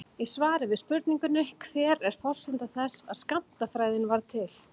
Í svari við spurningunni Hver er forsenda þess að skammtafræðin varð til?